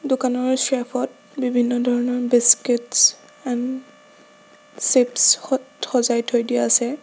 দোকানৰ চেলফ ত বিভিন্ন ধৰণৰ বিস্কিট ছ এণ্ড চিপছ সত সজাই থৈ দিয়া আছে।